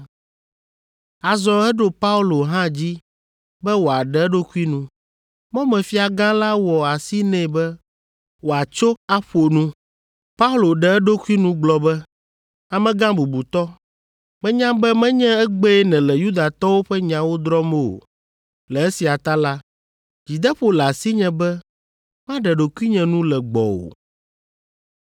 Azɔ eɖo Paulo hã dzi be wòaɖe eɖokui nu. Mɔmefiagã la wɔ asi nɛ be wòatso aƒo nu. Paulo ɖe eɖokui nu gblɔ be, “Amegã bubutɔ, menya be menye egbee nèle Yudatɔwo ƒe nyawo drɔ̃m o. Le esia ta la, dzideƒo le asinye be maɖe ɖokuinye nu le gbɔwò.